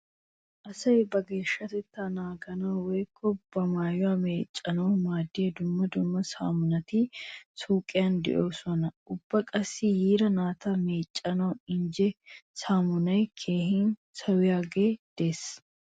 Asay ba geeshshatettaa naaganawu woykko ba maayuwa meeccanawu maaddiya dumma dumma saamunati suuqiyan de'oosona. Ubba qassi yira naata meeccanawu injje saamunay keehin sawiyaagee de'ees.